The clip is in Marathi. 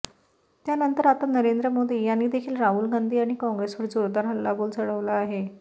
त्यानंतर आता नरेंद्र मोदी यांनी देखील राहुल गांधी आणि काँग्रेसवर जोरदार हल्लाबोल चढवला आहे